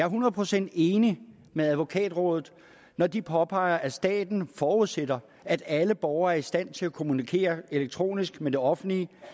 hundrede procent enig med advokatrådet når de påpeger at staten forudsætter at alle borgere er i stand til at kommunikere elektronisk med det offentlige